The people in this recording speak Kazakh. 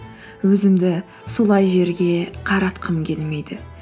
өзімді солай жерге қаратқым келмейді